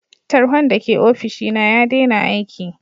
Tarhon da ke ofishi na ya dena aiki.